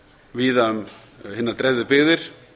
víða um hinar dreifðu byggðir